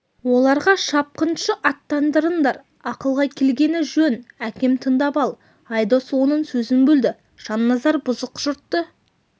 оларға шапқыншы аттандырыңдар ақылға келгені жөн әкем тыңдап ал айдос оның сөзін бөлді жанназар бұзық жұртты